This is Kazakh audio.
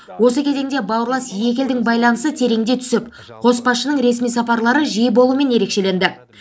осы кезеңде бауырлас екі елдің байланысы тереңдей түсіп қос басшының ресми сапарлары жиі болуымен ерекшеленді